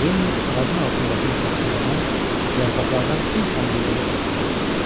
Lenni ağacın altındakı şax-şülədən yarpaqlardan bir çəngə yığıb gətirdi.